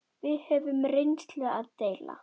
Við höfðum reynslu að deila.